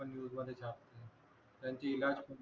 आपण न्यूज वाले छापतात त्यांची